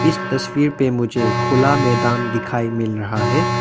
इस तस्वीर पे मुझे खुला मैदान दिखाई मिल रहा है।